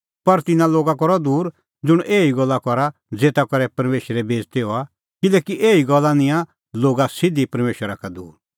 पर तिन्नां लोगा का रहअ दूर ज़ुंण एही गल्ला करा ज़ेता करै परमेशरे बेइज़ती हआ किल्हैकि एही गल्ला निंयां लोगा सिधी परमेशरा का दूर